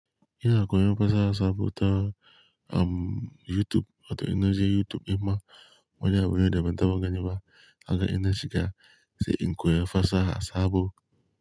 Ina koyon fasaha saboda, um, YouTube wato ina je YouTube kuma wani abun ne da ban taba gani ba haka ina shiga sai in koya fasaha sabo.